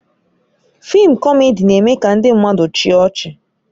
Fịịm kọmedi na-eme ka ndị mmadụ chịa ọchị